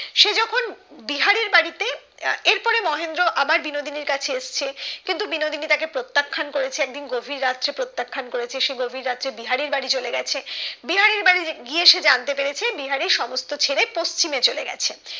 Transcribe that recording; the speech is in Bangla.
এর পরে মহেন্দ্র আবার বিনোদিনীর কাছে এসেছে কিন্তু বিনোদিনী তাকে প্রত্যাখ্যান করেছে একদিন গভীর রাতে প্রত্যাখ্যান করেছে সে গভীর রাতে বিহারির বাড়ি চলে গেছে আহ বিহারির বাড়ি গিয়ে সে জানতে পেরেছে বিহারি সমস্ত ছেড়ে পশ্চিমে চলে গেছে